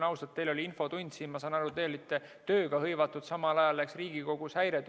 Teil oli infotund, ma saan aru, te olite tööga hõivatud, aga samal ajal hakkas Riigikogus häire tööle.